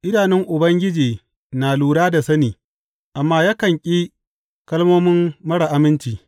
Idanun Ubangiji na lura da sani, amma yakan ƙi kalmomin marar aminci.